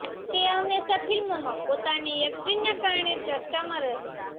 તે હંમેશા ફિલ્મોમાં પોતાની એક્ટિંગના કારણે ચર્ચામાં રહે છે